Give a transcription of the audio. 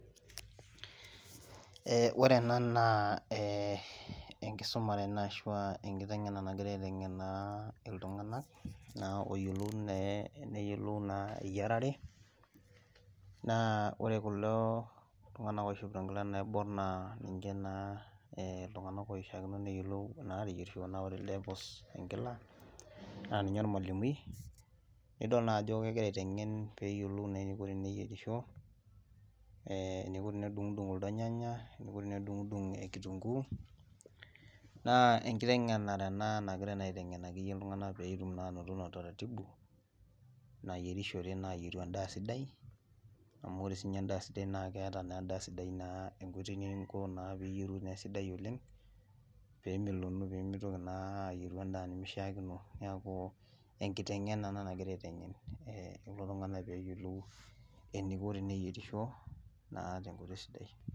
Ore ena naa enkisuma ashu enkiteng'ena nagirai aiteng'en iltung'ana pee eyiolou eyiarare naa ore kulo tung'ana oishopito enkilani naibor naa ninche naa loishakino neyiolou ateyierisho naa ore ele puus enkila naa ninye ormalimui nidol naa Ajo kegira aiteng'en eniko teneyierisho enikoo tenedungudung kulo nyanya otee nedungudung kituungu naa ekitengenare ena nagirai aiteng'en iltung'ana pee etum anoto utaratibu nayierishore ayieru endaa sidai amu ore sininyee endaa sidai naa keeta enkoitoi ninko pee eyieru endaas sidai oleng nemeloku naa pee mintoki ayieru endaa nimishakino neeku enkiteng'ena ena naagirai aiteng'en kulo tung'ana enaiko teneyierisho tenkoitoi sidai